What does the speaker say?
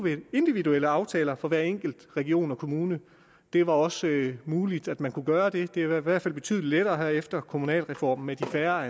individuelle aftaler for hver enkelt region og kommune det var også muligt at man kunne gøre det det er i hvert fald blevet betydelig lettere efter vedtagelsen af kommunalreformen med de færre